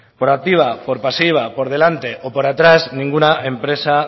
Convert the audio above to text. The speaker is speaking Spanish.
por activa por pasiva por delante o por atrás ninguna empresa